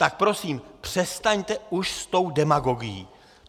Tak prosím, přestaňte už s tou demagogií!